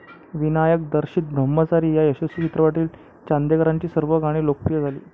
विनायकदिग्दर्शित ब्रह्मचारी या यशस्वी चित्रपटातील चांदेकरांची सर्व गणी लोकप्रिय झाली.